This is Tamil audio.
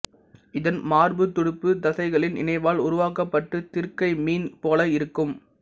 இதன் மார்புத் துடுப்பு தசைகளின் இணைவால் உருவாக்கப்பட்டு திருக்கைமீன் போல இருக்கும்